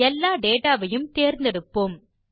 எல்லா டேட்டா வையும் தேர்ந்தெடுப்போம்